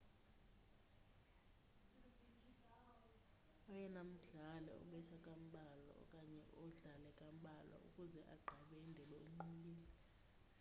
oyena mdlali obetha kambalwa okanye odlale kambalwa ukuze agqibe indebe unqobile